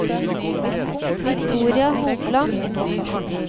Victoria Hopland